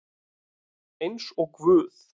Eins og guð